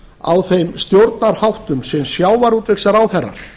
á þeim stjórnarháttum sem sjávarútvegsráðherrar